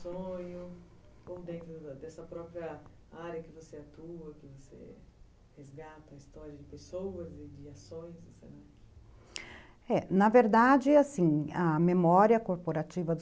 sonho, ou dentro dessa própria área que você atua, que você resgata a história de pessoas e de ações é, na verdade, assim, a memória coorporativa